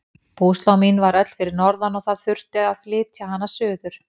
Búslóð mín var öll fyrir norðan og það þurfti að flytja hana suður.